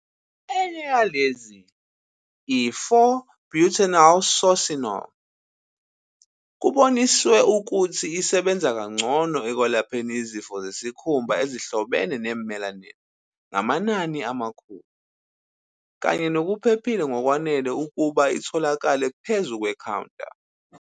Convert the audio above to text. Enye yalezi, i-4-butylresorcinol, kuboniswe ukuthi isebenza kangcono ekwelapheni izifo zesikhumba ezihlobene ne-melanin ngamanani amakhulu, kanye nokuphephile ngokwanele ukuba itholakale phezu kwe-counter.